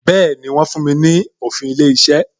Bẹẹni, wọ́n fún mi ní òfin ilé iṣẹ́